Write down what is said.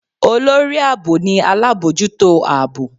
Olorí aabọ ni alabọjuto aabọ